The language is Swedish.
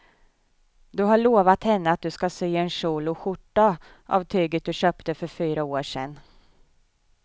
Du har lovat henne att du ska sy en kjol och skjorta av tyget du köpte för fyra år sedan.